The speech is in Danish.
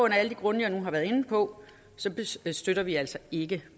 af alle de grunde jeg nu har været inde på støtter vi altså ikke